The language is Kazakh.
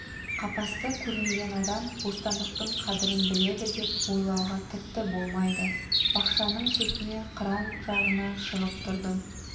қапасты көрмеген адам бостандықтың қадірін біледі деп ойлауға тіпті болмайды бақшаның шетіне қыран жағына шығып тұрдым